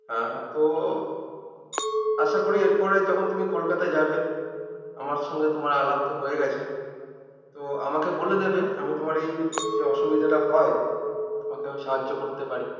আ তো আশা করি এরপরে যখন তুমি কলকাতায় যাবে আমার সঙ্গে তোমার আলাপ তো হয়ে গেছে তো আমাকে বলে দেবে আমি তোমার এই যে অসুবিধাটা হয় তোমাকে আমি সাহায্য করতে পারি